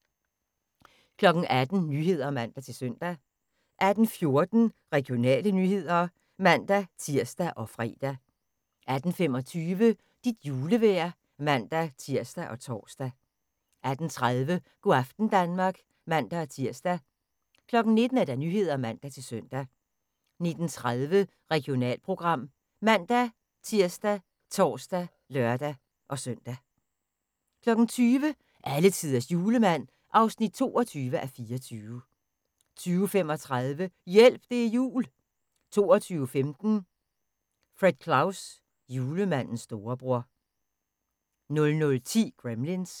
18:00: Nyhederne (man-søn) 18:14: Regionale nyheder (man-tir og fre) 18:25: Dit julevejr (man-tir og tor) 18:30: Go' aften Danmark (man-tir) 19:00: Nyhederne (man-søn) 19:30: Regionalprogram ( man-tir, tor, lør-søn) 20:00: Alletiders Julemand (22:24) 20:35: Hjælp, det er jul 22:15: Fred Claus – julemandens storebror 00:10: Gremlins